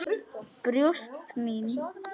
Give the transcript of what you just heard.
Brjóst mín.